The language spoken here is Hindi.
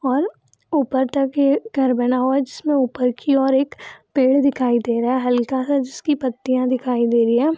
और ऊपर तक घर बना हुआ जिसमें ऊपर की और एक पेड़ दिखाई दे रहा है हल्का सा जिसकी पत्तियाँ दिखाई दे रही है।